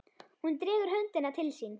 Hún dregur höndina til sín.